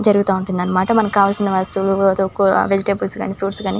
జరుగుతా ఉంటుందన్నమాట.మనకు కావలసిన వస్తువులు --]